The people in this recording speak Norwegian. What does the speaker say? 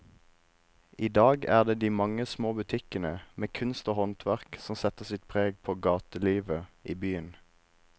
I dag er det de mange små butikkene med kunst og håndverk som setter sitt preg på gatelivet i byen.